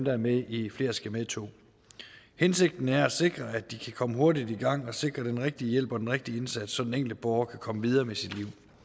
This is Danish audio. er med i flere skal med to hensigten er at sikre at de kan komme hurtigt i gang og sikre den rigtige hjælp og den rigtige indsats så den enkelte borger kan komme videre med sit